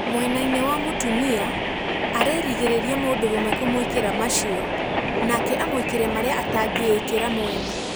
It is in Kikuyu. Mwena-ini wa mũtumia arĩĩrigirira mũdũrũme kumũikira macio nake amũĩkire maria atangiikira mwene.